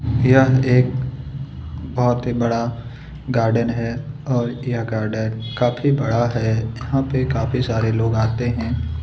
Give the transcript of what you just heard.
यह एक बहुत ही बड़ा गार्डन है और यह गार्डन काफी बड़ा है यहाँ पर काफी सारे लोग आते हैं।